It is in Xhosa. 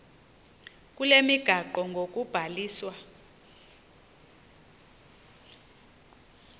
kule migaqo ngokubhaliswa